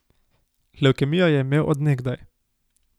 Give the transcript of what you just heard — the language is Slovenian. Levkemijo je imel od nekdaj.